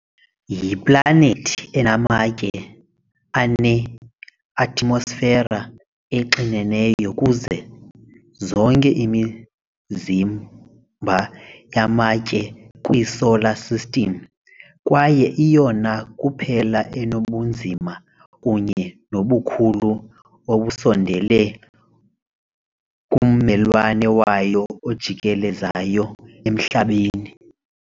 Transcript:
Yiplanethi enamatye eneatmosfera exineneyo kuzo zonke imizimba yamatye kwiSolar System, kwaye iyona kuphela enobunzima kunye nobukhulu obusondele kummelwane wayo ojikelezayo uMhlaba .